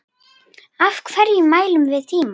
Af hverju mælum við tímann?